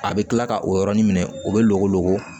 A bɛ kila ka o yɔrɔnin minɛ o bɛ golo